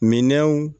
Minɛnw